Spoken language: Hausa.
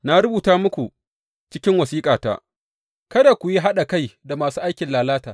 Na rubuta muku cikin wasiƙata, kada ku yi haɗa kai da masu aikin lalata.